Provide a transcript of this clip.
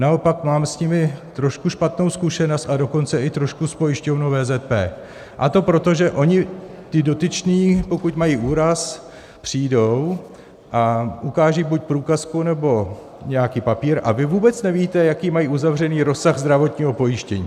Naopak, mám s nimi trošku špatnou zkušenost, a dokonce i trošku s pojišťovnou VZP, a to proto, že oni ti dotyční, pokud mají úraz, přijdou a ukážou buď průkazku, nebo nějaký papír, a vy vůbec nevíte, jaký mají uzavřený rozsah zdravotního pojištění.